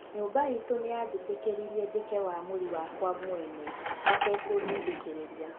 "nyũmba itũ nĩyajĩtekĩrĩrĩe jĩke waamũri wakwa mwene matakudidekĩreria."